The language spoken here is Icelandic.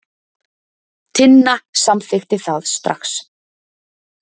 Tinna samþykkti það strax.